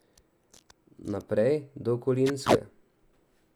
Naprej do Kolinske.